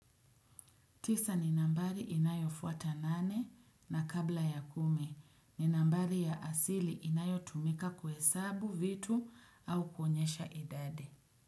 Tisa ni nambari inayo fuata nane na kabla ya kumi ni nambari ya asili inayo tumika kuhe sabu vitu au kuonyesha idadi.